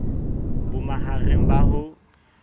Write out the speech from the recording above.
bo ma hareng ba ho